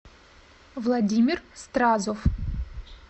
владимир стразов